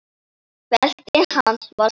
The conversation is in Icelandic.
Beltið hans var svart.